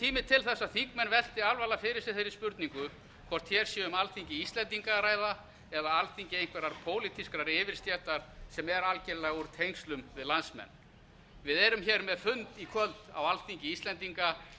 tími til að þingmenn velti alvarlega fyrir sér þeirri spurningu hvort hér sé um alþingi íslendinga að ræða eða alþingi einhverrar pólitískrar yfirstéttar sem er algerlega úr tengslum við landsmenn við erum hér með fund í kvöld á alþingi íslendinga